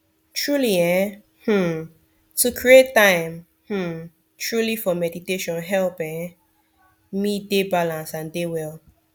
truely eeh um to create time um truely for meditation help um me dey balance and dey well